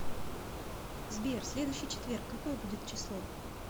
сбер следующий четверг какое будет число